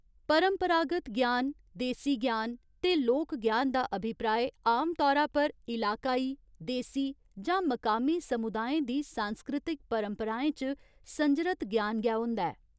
परंपरागत ज्ञान, देसी ज्ञान ते लोक ज्ञान दा अभिप्राय आम तौरा पर इलाकाई, देसी, जां मकामी समुदायें दी सांस्कृतिक परंपराएं च संजरत ज्ञान गै होंदा ऐ।